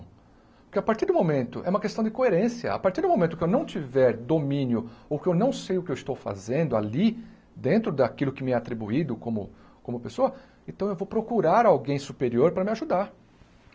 Porque a partir do momento, é uma questão de coerência, a partir do momento que eu não tiver domínio ou que eu não sei o que eu estou fazendo ali dentro daquilo que me é atribuído como como pessoa, então eu vou procurar alguém superior para me ajudar.